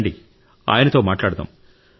రండి ఆయనతో మాట్లాడుదాం